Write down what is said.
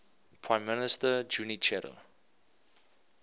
prime minister junichiro